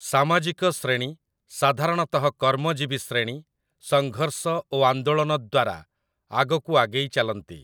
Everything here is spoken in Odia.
ସାମାଜିକ ଶ୍ରେଣୀ, ସାଧାରଣତଃ କର୍ମଜୀବୀ ଶ୍ରେଣୀ, ସଂଘର୍ଷ ଓ ଆନ୍ଦୋଳନ ଦ୍ୱାରା ଆଗକୁ ଆଗେଇ ଚାଲନ୍ତି ।